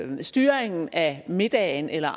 styringen af middagen eller